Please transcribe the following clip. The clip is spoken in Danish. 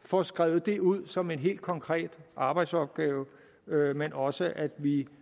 får skrevet det ud som en helt konkret arbejdsopgave men også sådan at vi